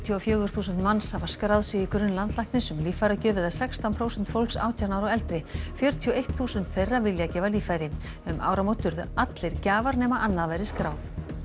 og fjögur þúsund manns hafa skráð sig í grunn landlæknis um líffæragjöf eða sextán prósent fólks átján ára og eldri fjörutíu og eitt þúsund þeirra vilja gefa líffæri um áramót urðu allir gjafar nema annað væri skráð